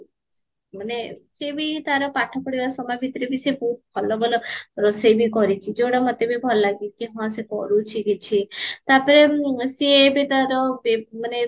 "ମାନେ ସିଏବି ତାର ପାଠ ପଢିବା ସମୟ ଭିତରେବି ସିଏ ବହୁତ ଭଲ ଭଲ ରୋଷେଇବି କରିଚି ଯୋଉଟା ମତେବି ଭଲ ଲଗେକି ହଁ ସେ କରୁଚି କିଛି ତାପରେ ସିଏ ଏବେ ତାର